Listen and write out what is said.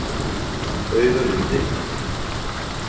Baugalundi